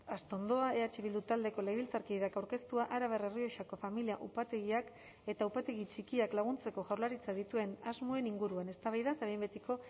astondoa eh bildu taldeko legebiltzarkideak aurkeztua arabar errioxako familia upategiak eta upategi txikiak laguntzeko jaurlaritzak dituen asmoen inguruan eztabaida eta behin betiko